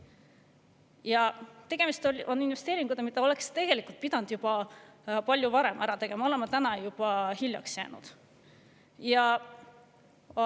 tegemist on investeeringuga, mille oleks tegelikult pidanud palju varem ära tegema, täna oleme juba hiljaks jäänud.